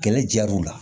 Kɛlɛ jar'u la